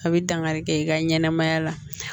A bɛ dankari kɛ i ka ɲɛnɛmaya la